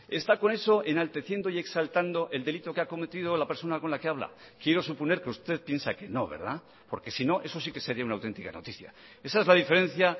está con eso enalteciendo y exaltando el delito que ha cometido la persona con la que habla quiero suponer que usted piensa que no verdad porque si no eso si que sería una auténtica noticia esa es la diferencia